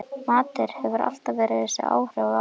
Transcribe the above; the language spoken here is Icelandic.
Matur hefur alltaf þessi áhrif á mig